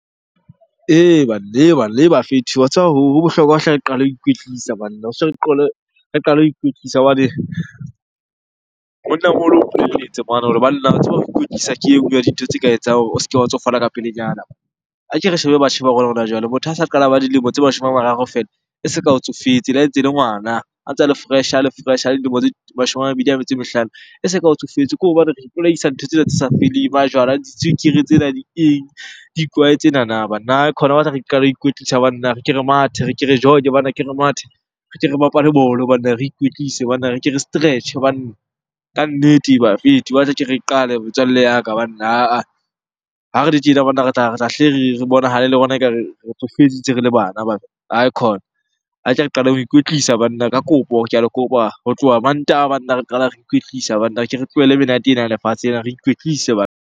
Ee, banna, banna, bafethu wa tseba ho bohlokwa hle re qale ho ikwetlisa banna re qale ho ikwetlisa. Hobane monnamoholo o mplelletse mane hore, banna tseba ho ikwetlisa ke e nngwe ya dintho tse ka etsang hore o se ke wa tsofala ka pelenyana. A ke re shebe batjha ba rona hona jwale, motho ha sa qala ba dilemo tse mashome a mararo feela. E se ka o tsofetse le ha e ntse ele ngwana, a tsa le fresh-e, a le fresh-e. A le dilemo tse mashome a mabedi a metso e mehlano, e se ka o tsofetse ko hobane re ipolaisa dintho tsena tse sa feleng. Majwala, ditswekere tsena, di eng? Dikwae tsenana banna. Aikhona ho batla re qale ho ikwetlisa banna, re ke re mathe, re ke re jog-e banna, ke re mathe. Re ke re bapale banna, re ikwetlise banna, re ke re stretch-e banna. Kannete bafethu ho batla ke re qale metswalle ya ka banna. Ha-ah, ha re le tjena banna re tla hle re bonahale le rona ekare re tsofetse ntse re le bana banna. Aikhona qaleng ho ikwetlisa banna ka kopo, ke a le kopa. Ho tloha Mantaha banna re qala re ikwetlisa banna, ke re tlohele menate ena ya lefatshe ena, re ikwetlise .